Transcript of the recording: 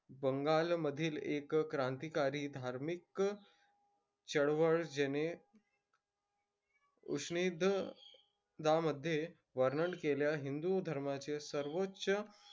बंगालमधील एक क्रांतीकारी धार्मिक चळवळ ज्याने उपनिषदामधे वर्णन केलेल्या हिंदू धर्माचे सर्वोच्च,